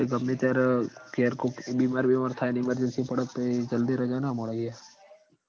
ગમે ત્યાર ઘેર કોક બીમાર બીમાર થાય ન emergency પડ તો પહી જલ્દી રજા ના મળ એ